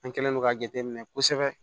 An kɛlen don k'a jate minɛ kosɛbɛ